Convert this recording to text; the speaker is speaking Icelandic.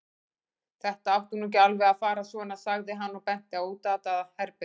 Þetta átti nú ekki alveg að fara svona, sagði hann og benti á útatað herbergið.